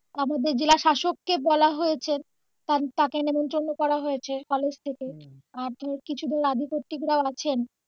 আমাদের জেলা প্রশাসক কে বলা হয়েছে তাকে নেমন্ত্রন করা হয়ছে কলেজ থেকে আর ধর কিছু ধর আধিপত্যিক রাও আছেন